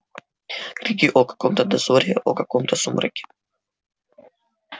крики о каком-то дозоре о каком-то сумраке